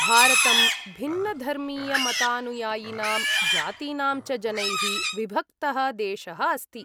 भारतं भिन्नधर्मीयमतानुयायिनां जातीनां च जनैः विभक्तः देशः अस्ति।